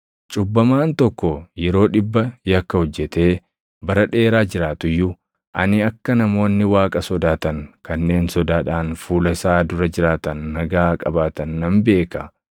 Cubbamaan tokko yeroo dhibba yakka hojjetee bara dheeraa jiraatu iyyuu, ani akka namoonni Waaqa sodaatan kanneen sodaadhaan fuula isaa dura jiraatan nagaa qabaatan nan beeka.